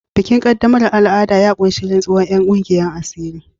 Bikin qaddamarwa al'ada ya ƙunshi rantsuwar 'yan kungiyar asiri.